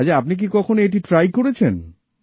আচ্ছা আপনি কি কখনো এটি ট্রাই করেছেন